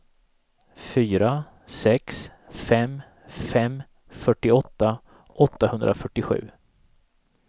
fyra sex fem fem fyrtioåtta åttahundrafyrtiosju